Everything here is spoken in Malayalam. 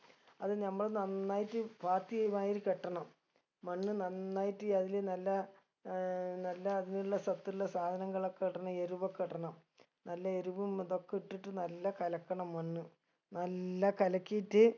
അത് നമ്മള് നന്നായിട്ട് പാത്തിയ മാതിരി കെട്ടണം മണ്ണ് നന്നായിട്ട് അതില് നല്ല ഏർ നല്ല അതിലുള്ള സത്തുള്ള സാധനങ്ങളൊക്കെ ഇടണം എരുവൊക്കെ ഇടണം നല്ല എരുവും ഇതൊക്കെ ഇട്ടിട്ട് നല്ല കലക്കണം മണ്ണ് നല്ല കലക്കീറ്റ്